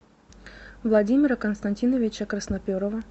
владимира константиновича красноперова